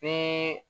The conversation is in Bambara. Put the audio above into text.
Bɛɛ